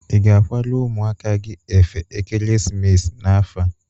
Ị ga-akwara ụmụaka gi efe ekeresimesi n'afọ a?